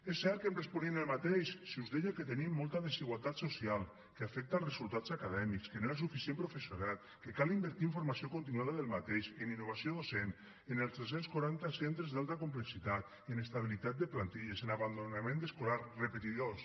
és cert que em responien el mateix si us deia que tenim molta desigualtat social que afecta els resultats acadèmics que no hi ha suficient professorat que cal invertir en formació continuada d’aquest professorat en innovació docent en els tres cents i quaranta centres d’alta complexitat en estabilitat de plantilles en abandonament escolar repetidors